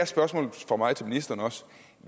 spørgsmålet fra mig til ministeren